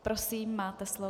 Prosím, máte slovo.